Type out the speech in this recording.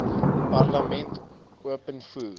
parlement open voor